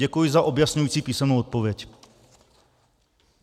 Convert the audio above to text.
Děkuji za objasňující písemnou odpověď.